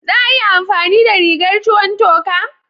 Za a iya amfani da rigar ruwan toka?